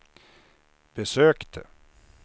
besökte